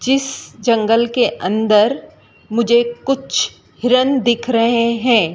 जिस जंगल के अंदर मुझे कुछ हिरण दिख रहे हैं।